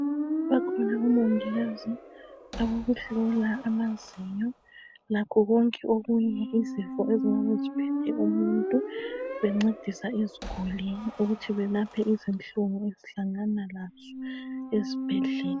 Bakhona omongikazi abokuhlola amazinyo lakho konke okunye, izifo ezingabe ziphethe umuntu bencedisa iziguli, ukuthi belaphe izinhlungu ezihlangana lazo ezibhedlela